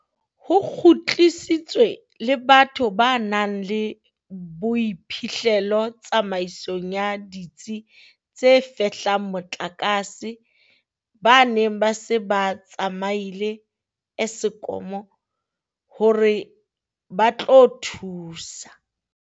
Ho kgutlisitswe le batho ba nang le boiphihlelo tsamaisong ya ditsi tse fehlang motlakase ba neng ba se ba tsamaile Eskom hore ba tlo thusa.